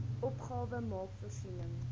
opgawe maak voorsiening